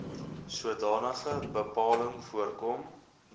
sodanige bepaling voorkom